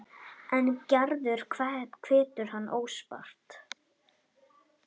En Gerður hvetur hann óspart.